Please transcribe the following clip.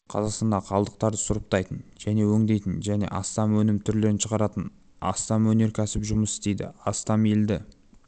қазақстанда қалдықтарды сұрыптайтын және өңдейтін және астам өнім түрлерін шығаратын астам кәсіпорын жұмыс істейді астам елді